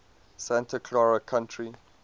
santa clara county